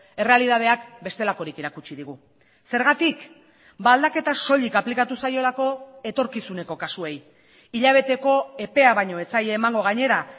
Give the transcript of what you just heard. errealitateak bestelakorik erakutsi digu zergatik aldaketa soilik aplikatu zaiolako etorkizuneko kasuei hilabeteko epea baino ez zaie emango gainera